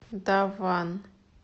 дав ван